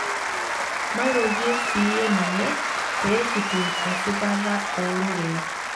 Maroriyie siiyie ninye pee kitum esipata ororei.